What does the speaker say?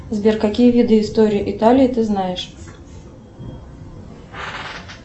сбер какие виды истории италии ты знаешь